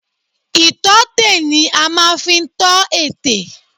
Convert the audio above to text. Ìtọ́tè ni a máa fi ń tọ ètè